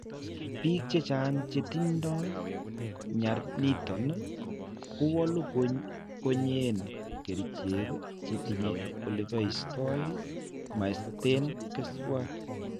Biik chechaang; chetindo nyar niiton kowaalu konye en kerichek chetiinye ole baysto mast en keswat.